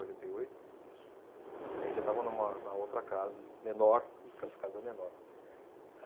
e oito. Isso. Eh, já estávamos numa, na outra casa, menor, que essa casa, menor.